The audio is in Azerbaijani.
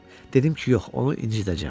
Dedim ki, yox, onu incidəcəyəm.